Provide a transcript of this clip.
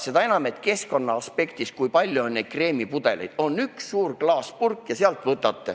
Seda enam, et ka keskkonna aspektist vaadates on kreemipudeleid liiga palju.